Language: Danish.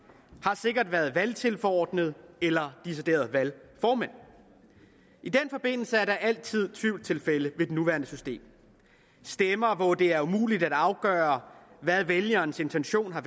har sikkert været valgtilforordnede eller deciderede valgformænd i den forbindelse er der altid tvivlstilfælde ved det nuværende system stemmer hvor det er umuligt at afgøre hvad vælgerens intention har